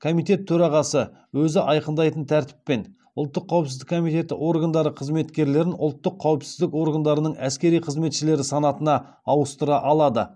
комитет төрағасы өзі айқындайтын тәртіппен ұлттық қауіпсіздік қызметі органдары қызметкерлерін ұлттық қауіпсіздік органдарының әскери қызметшілері санатына ауыстыра алады